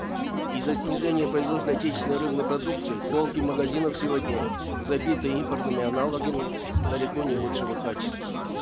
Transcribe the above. из за снижения производства отечественной рыбной продукции полки магазинов сегодня забиты импортными аналогами далеко не лучшего качества